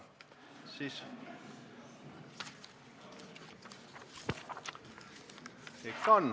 Ikka on!